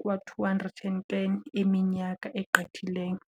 kwa-210 eminyaka egqithileyo.